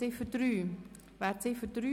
Wir kommen zur Ziffer 3.